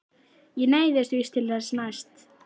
Ég neyðist víst til þess næst.